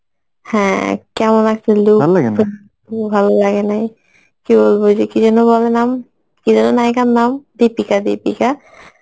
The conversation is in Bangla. হ্যাঁ, কেমন একটা look ভালোলাগেনাই কী বলব ওই যে কী যেনো বেলে নাম? কি যেন নায়িকার নাম? দীপিকা দীপিকা